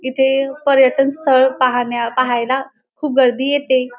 इथे पर्यटन स्थळ पाहण्या पाहायला खूप गर्दी येते.